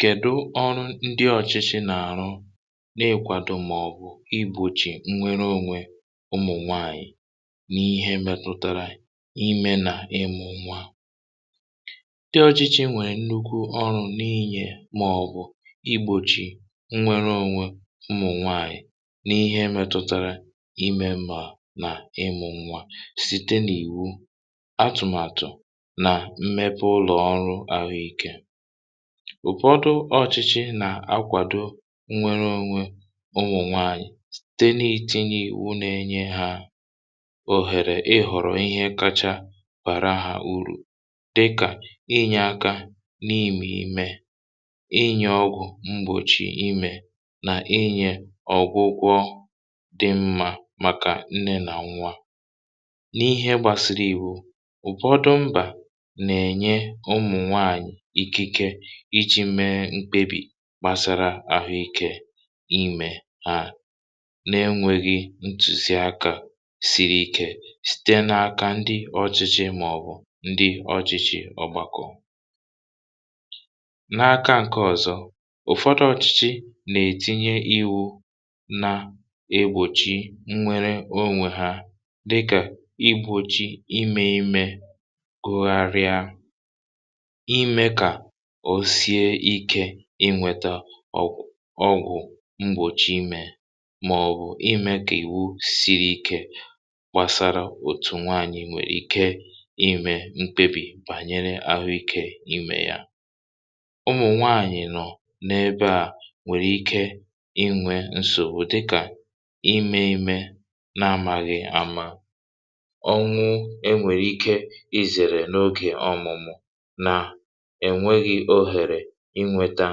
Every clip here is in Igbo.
Kèdụ ọrụ ndị ọ̇chị̇chị̇ nà-àrụ na-èkwadò màọ̀bụ̀ igbòchì nnwere onwe ụmụ̀ nwaanyị̀, n’ihe metụtara imė nà ịmụ̇ nwa. Ndị ọ̇chị̇chị̇ nwèrè nnukwu ọrụ̇ n’inyè màọ̀bụ̀ igbòchì nnwere onwe ụmụ̀ nwaanyị̀ n’ihe metụtara imė mà nà ịmụ̇ nwa site nà ìwu, atụ̀màtụ̀ nà mmèpè ulọ ọrụ àhụ iké. Ụfọdụ ọ̇chịchị nà-akwàdo nwere ȯnwė onwònwà ànyị site na-etinye ìwu na-enye hȧ òhèrè ihọ̀rọ̀ ihe kacha bàra hȧ urù dịkà, inyė aka n’imė imė, inyė ọgwụ̀ mgbòchi imė, nà inyė ọ̀gwụgwọ dị mmȧ màkà nne nà nwȧ. N’ihe gbàsị̀rị̀ iwu, ụfọdụ mbà nà-enyé ụmụnwàànyị ikike ịchị̇ mee mkpebì kpasara ahụ̀ ikè imè a, n’enwėghi̇ ntùzi akȧ siri ikė sìte n’aka ndị ọchị̇chị̇ màọ̀bụ̀ ndị ọchị̇chị̇ ọ̀gbàkọ̀. N’aka ǹkè ọ̀zọ, ụ̀fọdụ ọchị̇chị̇ nà-ètinye ịwụ̇ na-egbòchi nwere onwè ha dịkà igbòchi imė imė gugharịa, imė kà o sie ike inwėtȧ ọgwụ̀ ọgwụ mgbòchi imė màọ̀bụ̀ imė kà ìwu siri ike gbàsara òtù nwaànyị̀ nwèrè ike imė mkpebì bànyere àhụikė imè ya. Ụmụ̀ nwaànyị̀ nọ n’ebe à nwèrè ike inwė nsògbu dịkà, ime ime na-amȧghị̀ ama, ọnwụ e nwèrè ike izèrè n’ogè ọmụ̀mụ̀ nà ènweghi ohèrè inwėtȧ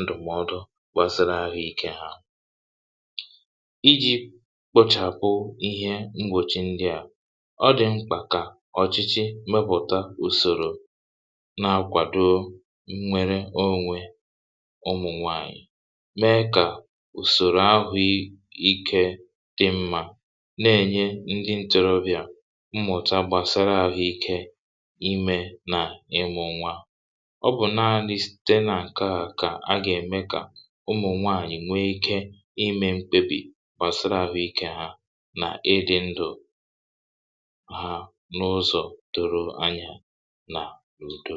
ndụ̀mọdụ gbàsara àhụikė ha. Iji̇ kpȯchàpụ ihe m̀gbòchi ndịa, ọ dị̀ mkpà kà ọ̀chịchị mepụ̀ta ùsòrò na-akwàdo nwere onwè ụmụ̀ nwaànyị̀, mee kà ùsòrò ahụ̀ ikė dị mmȧ, na-ènye ndị ntorobịà mmụ̀ta gbàsara àhụikė imė nà ịmụ̇ nwa. Ọ bụ̀ nàanị site n’nkèa kà a gà-ème kà ụmụ̀ nwaànyị̀ nwee ike ime mkpebì gbàsara àhụikė ha n’ịdị̇ ndụ ha, n’ụzọ̀ doro anya n’udo.